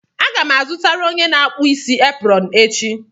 Aga m azụtara onye na-akpụ isi eprọn echi.